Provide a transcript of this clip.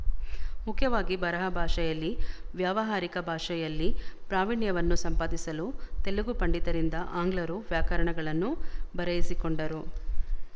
ಮುಖ್ಯವಾಗಿ ಬರಹ ಭಾಷೆಯಲ್ಲಿ ವ್ಯಾವಹಾರಿಕ ಭಾಷೆಯಲ್ಲಿ ಪ್ರಾವಿಣ್ಯವನ್ನು ಸಂಪಾದಿಸಲು ತೆಲುಗು ಪಂಡಿತರಿಂದ ಆಂಗ್ಲರು ವ್ಯಾಕರಣಗಳನ್ನು ಬರೆಯಿಸಿಕೊಂಡರು